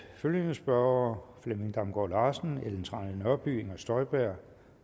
følgende spørgere flemming damgaard larsen ellen trane nørby inger støjberg